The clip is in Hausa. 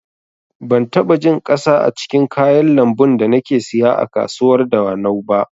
Ban taɓa jin ƙasa a cikin kayan lambun da nake siya a kasuwar dawanau ba